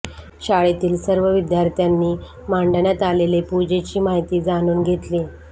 शाळेतील सर्व विद्यार्थ्यांनी मांडण्यात आलेले पूजेची माहिती जाणून घेतली